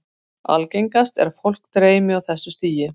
Algengast er að fólk dreymi á þessu stigi.